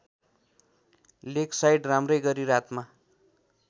Lakeside राम्रैगरी रातमा